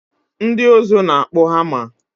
Ndị ụzụ na-akpụ hama